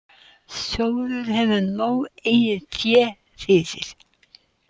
Sjóðurinn hefur nóg eigið fé fyrir